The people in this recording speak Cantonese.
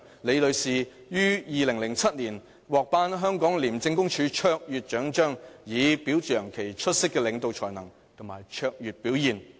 李女士於2007年獲頒香港廉政公署卓越獎章，以表揚其出色領導才能及卓越表現。